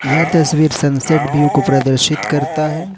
यह तस्वीर sunset view को प्रदर्शित करता है।